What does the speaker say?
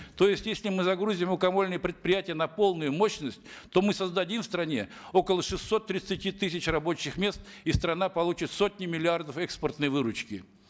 то есть если мы загрузим мукомольные предприятия на полную мощность то мы создадим в стране около шестисот тридцати тысяч рабочих мест и страна получит сотни миллиардов экспортной выручки